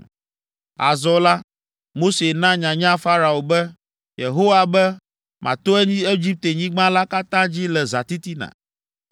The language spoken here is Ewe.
Azɔ la, Mose na nyanya Farao be, “Yehowa be, ‘Mato Egiptenyigba la katã dzi le zãtitina.